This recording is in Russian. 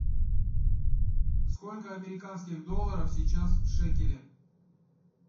сколько американских долларов сейчас в шекеле